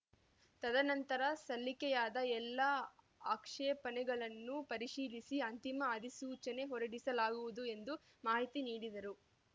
ತದನಂತರ ಸಲ್ಲಿಕೆಯಾದ ಎಲ್ಲಾ ಆಕ್ಷೇಪಣೆಗಳನ್ನು ಪರಿಶೀಲಿಸಿ ಅಂತಿಮ ಅಧಿಸೂಚನೆ ಹೊರಡಿಸಲಾಗುವುದು ಎಂದು ಮಾಹಿತಿ ನೀಡಿದರು